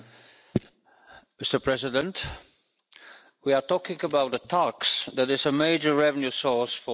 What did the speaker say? Madam President, we are talking about the tax that is a major revenue source for Member States.